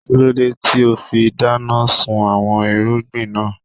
Kílódé tíì ó fi dáná sun àwọn irúgbìn náà